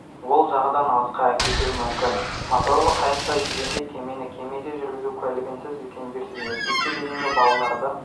ол жағадан алысқа әкетуі мүмкін моторлы қайықта жүзгенде кемені кеме жүргізу куәлігінсіз үлкендерсіз мектепке дейінгі балаларды